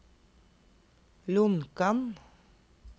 Lonkan